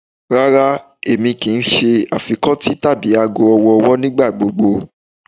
Rara, Emi kii ṣe afikọti tabi aago ọwọ-ọwọ nigbagbogbo